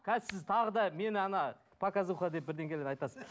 қазір сіз тағы да мені ана показуха деп бірдеңелер айтасыз